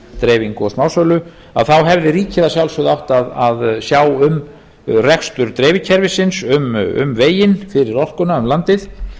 dreifingu á smásölu þá hefði ríkið að sjálfsögðu átt að sjá um rekstur dreifikerfisins um veginn fyrir orkuna um landið